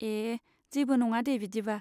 ए, जेबो नङा दे बिदिबा।